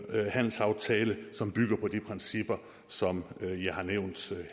handelsaftale som bygger på de principper som jeg har nævnt